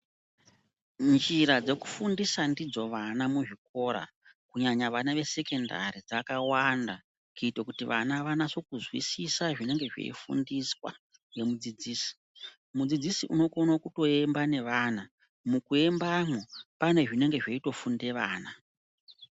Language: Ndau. Njira dzekufundisa ndidzo vana muzvikora kunyanya vana vesekendari dzakawanda kuito kuti vana vanaso kuzwisisa zvinenge zveifundiswa nemudzidzisi. Mudzidzisi unokona kutoemba nevana, mukuembamwo, pane zvinenge zveitofunde vana.